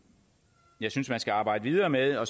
jeg synes man skal arbejde videre med og